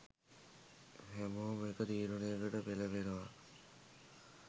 හැමෝම එක තීරණයකට එළඹෙනව.